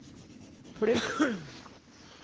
plugg